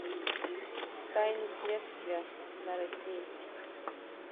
тайны следствия на россии